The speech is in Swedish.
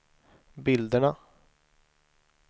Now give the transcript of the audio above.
bilderna